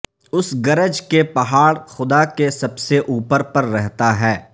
اس گرج کے پہاڑ خدا کے سب سے اوپر پر رہتا ہے